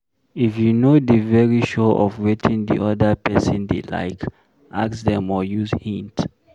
If you no dey very sure of wetin di oda person dey like, ask dem or use hint